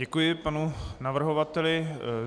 Děkuji panu navrhovateli.